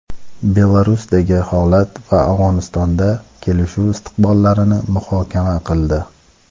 Belarusdagi holat va Afg‘onistonda kelishuv istiqbollarini muhokama qildi.